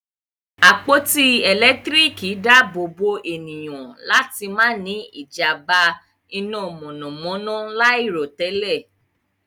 àpótí elekitiriki daabobo ènìyàn láti má ní ijamba iná mọnamọna lairotẹlẹ.